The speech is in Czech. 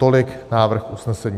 Tolik návrh usnesení.